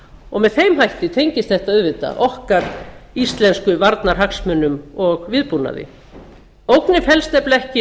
og með þeim hætti tengist þetta auðvitað okkar íslensku varnarhagsmunum og viðbúnaði ógnin felst nefnilega ekki